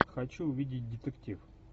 хочу увидеть детектив